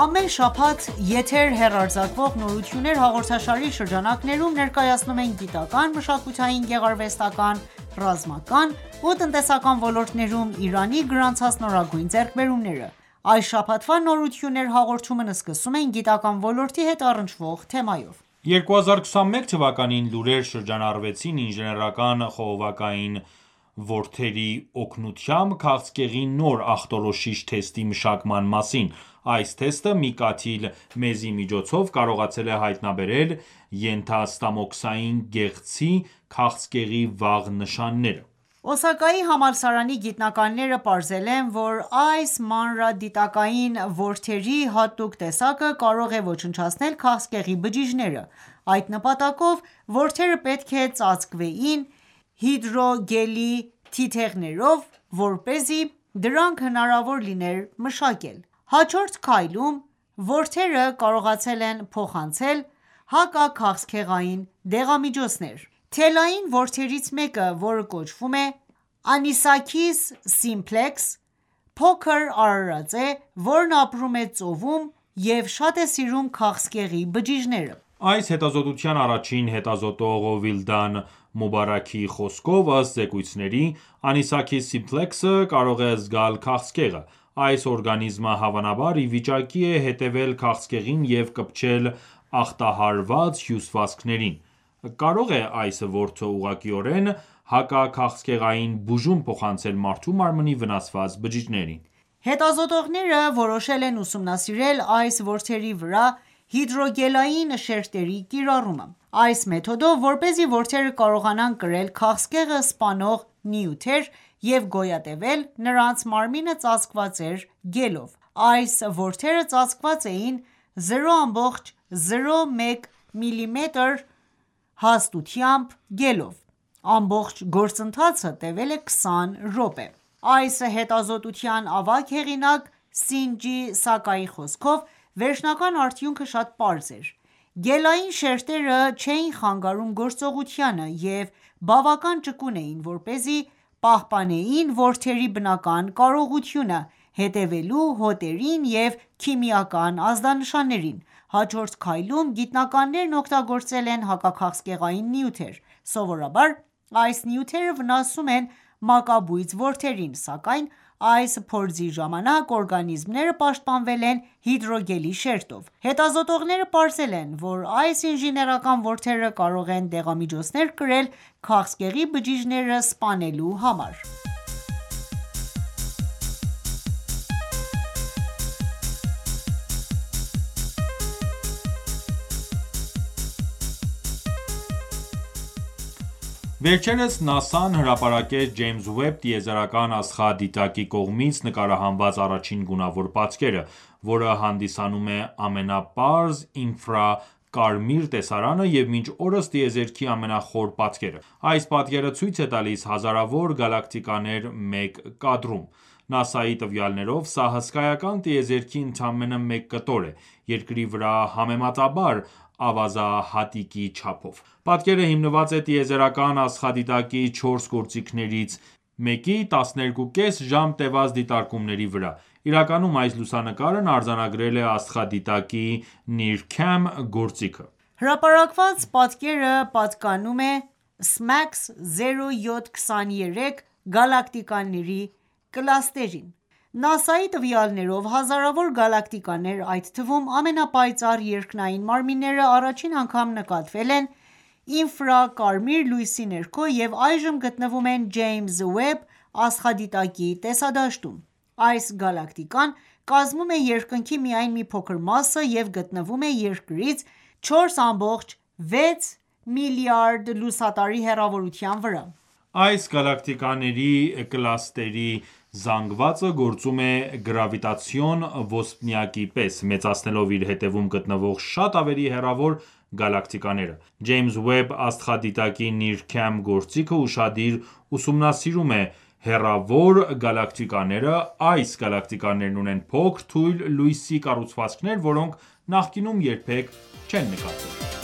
Ամեն շաբաթ եթեր հեռարձակվող «Նորություններ» հաղորդաշարի շրջանակներում ներկայացնում ենք գիտական, մշակութային, գեղարվեստական, ռազմական ու տնտեսական ոլորտներում Իրանի գրանցած նորագույն ձեռքբերումները։ Այս շաբաթվա «Նորություններ» հաղորդումն սկսում ենք գիտական ոլորտի հետ առնչվող թեմայով։ 2021 թվականին լուրեր շրջանառվեցին ինժեներական խողովակային որդերի օգնությամբ քաղցկեղի նոր ախտորոշիչ թեստի մշակման մասին։ Այս թեստը մի կաթիլ մեզի միջոցով կարողացել է հայտնաբերել ենթաստամոքսային գեղձի քաղցկեղի վաղ նշանները։ Օսակայի համալսարանի գիտնականները պարզել են, որ այս մանրադիտակային որդերի հատուկ տեսակը կարող է ոչնչացնել քաղցկեղի բջիջները: Այդ նպատակով որդերը պետք է ծածկվեին հիդրոգելի թիթեղներով, որպեսզի դրանք հնարավոր լիներ մշակել: Հաջորդ քայլում որդերը կարողացել են փոխանցել հակաքաղցկեղային դեղամիջոցներ։ Թելային որդերից մեկը, որը կոչվում է Anisakis simplex, փոքրիկ արարած է, որն ապրում է ծովում և շատ է սիրում քաղցկեղի բջիջները: Այս հետազոտության առաջին հետազոտող Վիլդան Մուբարաքի խոսքով, ըստ զեկույցների, Anisakis simplex-ը կարող է զգալ քաղցկեղը: Այս օրգանիզմը, հավանաբար, ի վիճակի է հետևել քաղցկեղին և կպչել ախտահարված հյուսվածքներին: Կարո՞ղ է այս որդը ուղղակիորեն հակաքաղցկեղային բուժում փոխանցել մարդու մարմնի վնասված բջիջներին: Հետազոտողները որոշել են ուսումնասիրել այս որդերի վրա հիդրոգելային շերտերի կիրառումը։ Այս մեթոդով, որպեսզի որդերը կարողանան կրել քաղցկեղը սպանող նյութեր և գոյատևել, նրանց մարմինը ծածկված էր գելով։ Այս որդերը ծածկված էին 0,01 մմ հաստությամբ գելով։ Ամբողջ գործընթացը տևել է 20 րոպե։ Այս հետազոտության ավագ հեղինակ Սինջի Սակայի խոսքով, վերջնական արդյունքը շատ պարզ էր: Գելային շերտերը չէին խանգարում գործողությանը և բավական ճկուն էին, որպեսզի պահպանեին որդերի բնական կարողությունը՝ հետևելու հոտերին և քիմիական ազդանշաններին: Հաջորդ քայլում գիտնականներն օգտագործել են հակաքաղցկեղային նյութեր։ Սովորաբար այս նյութերը վնասում են մակաբույծ որդերին, սակայն այս փորձի ժամանակ օրգանիզմները պաշտպանվել են հիդրոգելի շերտով։ Հետազոտողները պարզել են, որ այս ինժեներական որդերը կարող են դեղամիջոցներ կրել քաղցկեղի բջիջները սպանելու համար: Վերջերս ՆԱՍԱ-ն հրապարակեց Ջեյմս Ուեբ տիեզերական աստղադիտակի կողմից նկարահանված առաջին գունավոր պատկերը, որը հանդիսանում է ամենապարզ ինֆրակարմիր տեսարանը և մինչ օրս տիեզերքի ամենախոր պատկերը: Այս պատկերը ցույց է տալիս հազարավոր գալակտիկաներ մեկ կադրում: ՆԱՍԱ-ի տվյալներով՝ սա հսկայական տիեզերքի ընդամենը մեկ կտոր է՝ Երկրի վրա համեմատաբար ավազահատիկի չափով: Պատկերը հիմնված է տիեզերական աստղադիտակի 4 գործիքներից մեկի 12,5 ժամ տեւած դիտարկումների վրա։ Իրականում այս լուսանկարն արձանագրել է աստղադիտակի NIRCam գործիքը։ Հրապարակված պատկերը պատկանում է SMACS 0723 գալակտիկաների կլաստերին։ ՆԱՍԱ-ի տվյալներով՝ հազարավոր գալակտիկաներ, այդ թվում՝ ամենապայծառ երկնային մարմինները, առաջին անգամ նկատվել են ինֆրակարմիր լույսի ներքո և այժմ գտնվում են Ջեյմս Ուեբ աստղադիտակի տեսադաշտում։ Այս գալակտիկան կազմում է երկնքի միայն մի փոքր մասը և գտնվում է Երկրից 4,6 միլիարդ լուսատարի հեռավորության վրա։ Այս գալակտիկաների կլաստերի զանգվածը գործում է գրավիտացիոն ոսպնյակի պես՝ մեծացնելով իր հետևում գտնվող շատ ավելի հեռավոր գալակտիկաները: Ջեյմս Ուեբ աստղադիտակի NIRCam գործիքը ուշադիր ուսումնասիրում է հեռավոր գալակտիկաները: Այս գալակտիկաներն ունեն փոքր, թույլ լույսի կառուցվածքներ, որոնք նախկինում երբեք չեն նկատվել։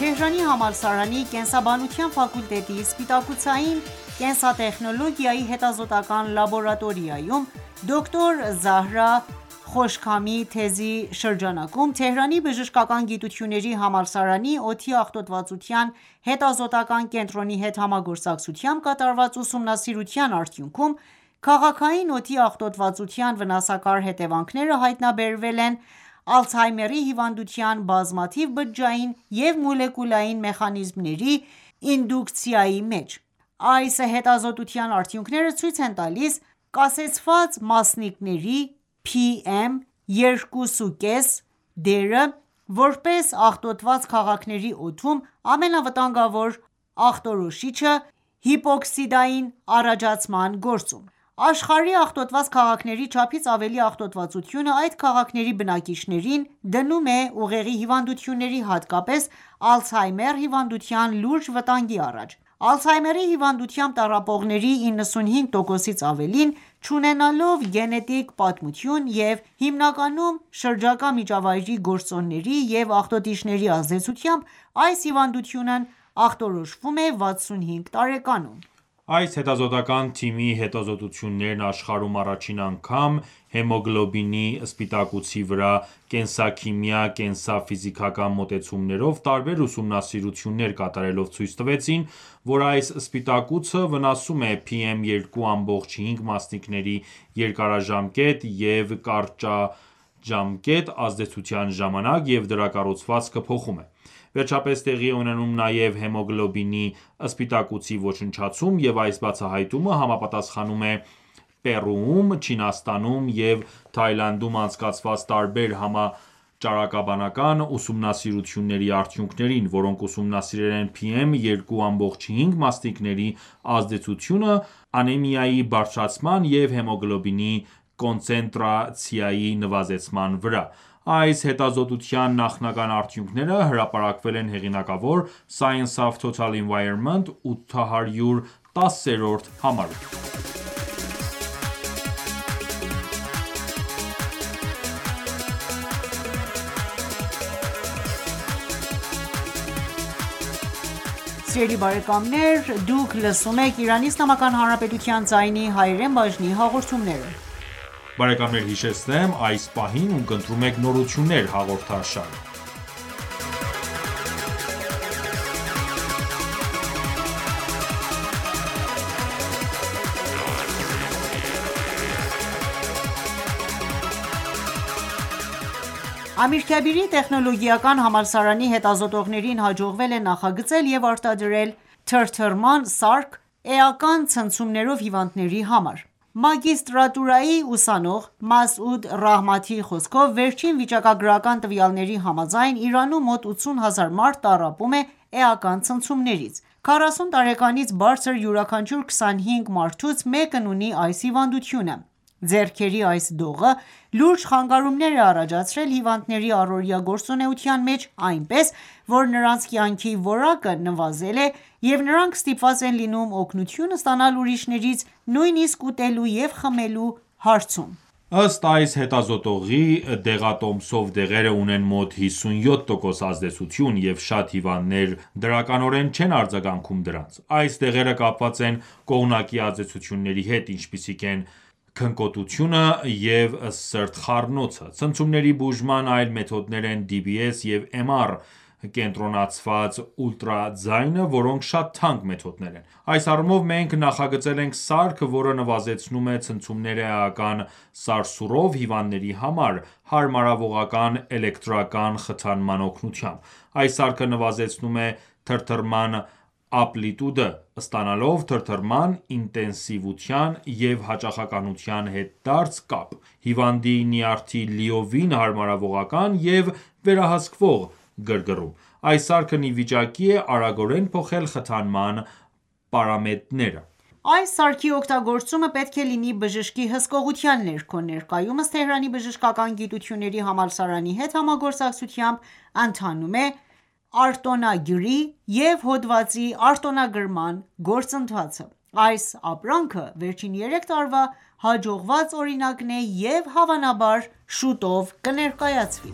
Թեհրանի համալսարանի Կենսաբանության ֆակուլտետի սպիտակուցային կենսատեխնոլոգիայի հետազոտական ​​լաբորատորիայում (PBRL) Դոկտոր Զահրա Խոշքամի թեզի շրջանակում Թեհրանի բժշկական գիտությունների համալսարանի օդի աղտոտվածության հետազոտական ​​կենտրոնի հետ համագործակցությամբ կատարված ուսումնասիրության արդյունքում, քաղաքային օդի աղտոտվածության վնասակար հետևանքները հայտնաբերվել են Ալցհեյմերի հիվանդության բազմաթիվ բջջային և մոլեկուլային մեխանիզմների ինդուկցիայի մեջ: Այս հետազոտության արդյունքները ցույց են տալիս կասեցված մասնիկների (PM 2.5) դերը՝ որպես աղտոտված քաղաքների օդում ամենավտանգավոր աղտոտիչի, հիպոքսիայի առաջացման գործում: Աշխարհի աղտոտված քաղաքների չափից ավելի աղտոտվածությունը այդ քաղաքների բնակիչներին դնում է ուղեղի հիվանդությունների, հատկապես Ալցհեյմերի հիվանդության լուրջ վտանգի առաջ։ Ալցհեյմերի հիվանդությամբ տառապողների 95 տոկոսից ավելին, չունենալով գենետիկ պատմություն և հիմնականում շրջակա միջավայրի գործոնների և աղտոտիչների ազդեցությամբ, այս հիվանդությունն ախտորոշվում է 65 տարեկանում։ Այս հետազոտական ​​թիմի աշխարհում առաջին անգամ հեմոգլոբինի սպիտակուցի վրա կենսաքիմիա-կենսաֆիզիկական մոտեցումներով տարբեր ուսումնասիրություններ կատարելով ցույց տվեցին, որ այս սպիտակուցը վնասվում է PM 2.5 մասնիկների երկարաժամկետ և կարճատև ազդեցության ժամանակ, և դրա կառուցվածքը փոխում է։ Վերջապես, տեղի է ունենում նաև հեմոգլոբինի սպիտակուցի ոչնչացում, և այս բացահայտումը համապատասխանում է Պերուում, Չինաստանում և Թաիլանդում անցկացված տարբեր համաճարակաբանական ուսումնասիրությունների արդյունքներին, որոնք ուսումնասիրել են PM 2.5 մասնիկների ազդեցությունը անեմիայի բարձրացման և հեմոգլոբինի կոնցենտրացիայի նվազեցման վրա։ Այս հետազոտության նախնական արդյունքները հրապարակվել են հեղինակավոր Science of Total Environment-ի 810-րդ համարում: Ամիրքաբիրի տեխնոլոգիական համալսարանի հետազոտողներին հաջողվել է նախագծել և արտադրել թրթռման սարք էական ցնցումներով հիվանդների համար: Մագիստրատուրայի ուսանող Մասուդ Ռահմաթիի խոսքով վերջին վիճակագրական տվյալների համաձայն՝ Իրանում մոտ 80 հազար մարդ տառապում է էական ցնցումներից։ 40 տարեկանից բարձր յուրաքանչյուր 25 մարդուց մեկն ունի այս հիվանդությունը։ Ձեռքերի այս դողը լուրջ խանգարումներ է առաջացրել հիվանդների առօրյա գործունեության մեջ, այնպես որ նրանց կյանքի որակը նվազել է, և նրանք ստիպված են լինում օգնություն ստանալ ուրիշներից՝ նույնիսկ ուտելու և ջուր խմելու հարցում։ Ըստ այս հետազոտողի, դեղատոմսով դեղերը ունեն մոտ 57% ազդեցություն, և շատ հիվանդներ դրականորեն չեն արձագանքում դրանց: Այս դեղերը կապված են կողմնակի ազդեցությունների հետ, ինչպիսիք են քնկոտությունը և սրտխառնոցը: Ցնցումների բուժման այլ մեթոդներ են DBS և MR կենտրոնացված ուլտրաձայնը, որոնք շատ թանկ մեթոդներ են: Այս առումով, մենք նախագծել ենք սարք, որը նվազեցնում է ցնցումները էական սարսուռով հիվանդների համար՝ հարմարվողական էլեկտրական խթանման օգնությամբ: Այս սարքը նվազեցնում է թրթռման ամպլիտուդը՝ ստանալով թրթռման ինտենսիվության և հաճախականության հետադարձ կապ, հիվանդի նյարդերի լիովին հարմարվողական և վերահսկվող գրգռում։ Այս սարքն ի վիճակի է արագորեն փոխել խթանման պարամետրերը ։ Այս սարքի օգտագործումը պետք է լինի բժշկի հսկողության ներքո։ Ներկայումս Թեհրանի բժշկական գիտությունների համալսարանի հետ համագործակցությամբ ընթանում է արտոնագրի և հոդվածի արտոնագրման գործընթացը։ Այս ապրանքը վերջին 3 տարվա հաջողված օրինակն է և հավանաբար շուտով կներկայացվի: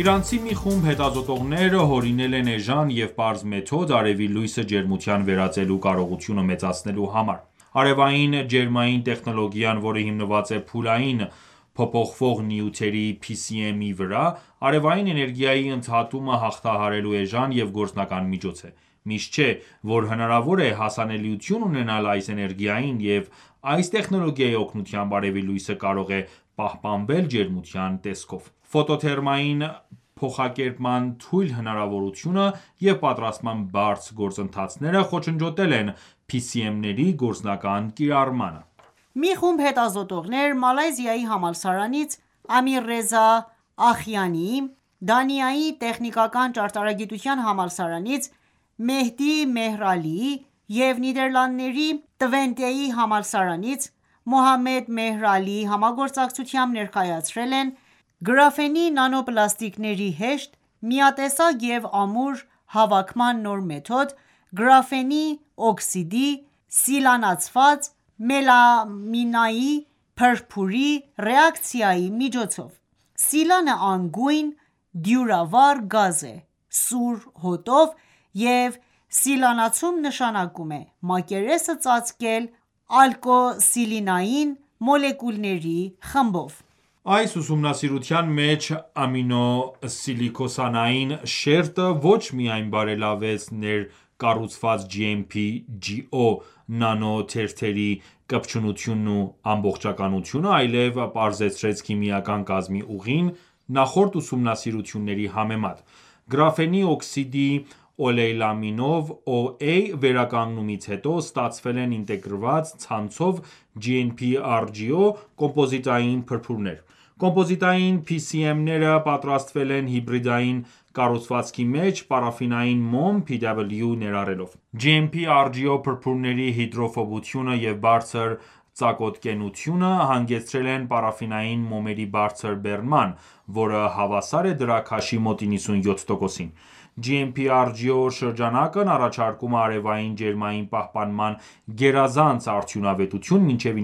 Իրանցի մի խումբ հետազոտողներ հորինել են էժան և պարզ մեթոդ՝ արևի լույսը ջերմության վերածելու կարողությունը մեծացնելու համար։ Արևային ջերմային տեխնոլոգիան, որը հիմնված է փուլային փոփոխվող նյութերի (PCM) վրա, արևային էներգիայի ընդհատումը հաղթահարելու էժան և գործնական միջոց է: Միշտ չէ, որ հնարավոր է հասանելիություն ունենալ այս էներգիային, և այս տեխնոլոգիայի օգնությամբ արևի լույսը կարող է պահպանվել ջերմության տեսքով։ Ֆոտոթերմային փոխակերպման թույլ հնարավորությունը և պատրաստման բարդ գործընթացները խոչընդոտել են PCM-ների գործնական կիրառմանը: Մի խումբ հետազոտողներ Մալայզիայի համալսարանից Ամիրռեզա Ախիանիի, Դանիայի Տեխնիկական ճարտարագիտության համալսարանից Մեհդի Մեհր Ալիի և Նիդեռլանդների Տվենտեի համալսարանից Մոհամմեդ Մեհր Ալիի համագործակցությամբ՝, ներկայացրել են գրաֆենի նանոպլաստիկների (GNP) հեշտ, միատեսակ և ամուր հավաքման նոր մեթոդ՝ գրաֆենի օքսիդի (GO) սիլանացված մելամինային փրփուրի (MF) ռեակցիայի միջոցով: Սիլանը անգույն, դյուրավառ գազ է՝ սուր հոտով, և սիլանացում նշանակում է մակերեսը ծածկել ալկօքսիլանային մոլեկուլների խմբերով։ Այս ուսումնասիրության մեջ ամինոսիլոքսանային շերտը ոչ միայն բարելավեց ներկառուցված GNP/GO նանոթերթերի կպչունությունն ու ամբողջականությունը, այլև պարզեցրեց քիմիական կազմի ուղին նախորդ ուսումնասիրությունների համեմատ: Գրաֆենի օքսիդի օլեյլամինով (OA) վերականգնումից հետո ստացվել են ինտեգրված ցանցով GNP/rGO կոմպոզիտային փրփուրներ։ Կոմպոզիտային PCM-ները պատրաստվել են հիբրիդային կառուցվածքի մեջ պարաֆինային մոմ (PW) ներառելով: GNP/rGO փրփուրների հիդրոֆոբությունը և բարձր ծակոտկենությունը հանգեցրել են պարաֆինային մոմերի բարձր բեռնման, որը հավասար է դրա քաշի մոտ 97%-ին): GNP/rGO շրջանակն առաջարկում է արևային ջերմային պահպանման գերազանց արդյունավետություն մինչև